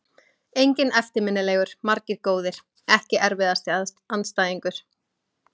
Enginn eftirminnilegur, margir góðir Ekki erfiðasti andstæðingur?